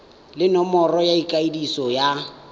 le nomoro ya ikwadiso ya